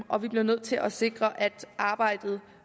og vi bliver nødt til at sikre at arbejdet